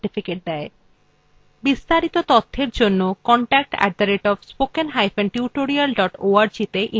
এই বিষয় বিস্তারিত তথ্যের জন্য contact @spokentutorial org তে ইমেল করুন